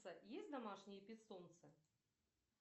есть домашние питомцы